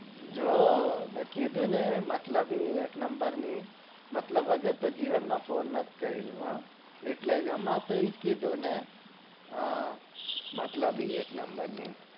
જો મેં કીધું ને મતલબી એક number ની મતલબ વગર તો જીવન મો phone ન કર્યો